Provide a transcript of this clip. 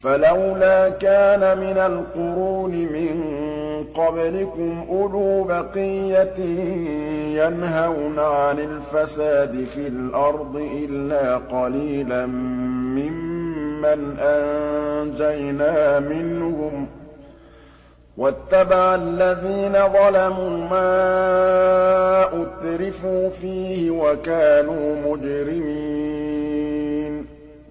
فَلَوْلَا كَانَ مِنَ الْقُرُونِ مِن قَبْلِكُمْ أُولُو بَقِيَّةٍ يَنْهَوْنَ عَنِ الْفَسَادِ فِي الْأَرْضِ إِلَّا قَلِيلًا مِّمَّنْ أَنجَيْنَا مِنْهُمْ ۗ وَاتَّبَعَ الَّذِينَ ظَلَمُوا مَا أُتْرِفُوا فِيهِ وَكَانُوا مُجْرِمِينَ